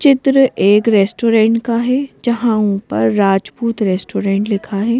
चित्र एक रेस्टोरेंट का है जहां ऊपर राजपूत रेस्टोरेंट लिखा है।